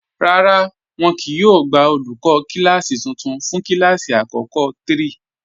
Rárá, wọn kíì yóò gbà olúkọ̀ kilasí tuntun fún kilasí akọkọ̀ 3.